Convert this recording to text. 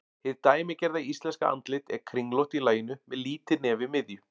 Hið dæmigerða íslenska andlit er kringlótt í laginu með lítið nef í miðju.